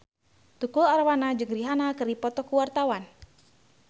Tukul Arwana jeung Rihanna keur dipoto ku wartawan